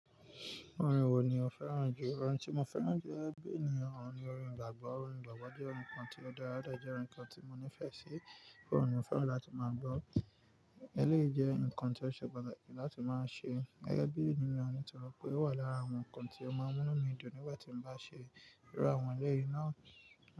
Orin wo ni o fẹ́ràn jù? Orin tí mo fẹ́ràn jù gẹ́gẹ́ bí ènìyàn òun ni orin ìgbàgbọ́. Orin ìgbàgbọ́ jẹ́ orin kan tí ó dára, ó dé jẹ́ orin kan tí mo nífẹ̀ẹ́ sí pé óun ni mo fẹ́ràn láti máa gbọ́. Eléyìí jẹ́ ǹkan tí ó ṣe pàtàkì láti máa ṣe gẹ́gẹ́ bí ènìyàn nítorí pé ó wà lára àwọn ǹkan tí ó máa n mú'nu mi dùn nígbà tí mo bá ṣe. Irú àwọn ẹlẹ́yìí náà.